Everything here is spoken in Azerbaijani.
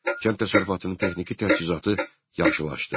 Kənd təsərrüfatının texniki təchizatı yaxşılaşdı.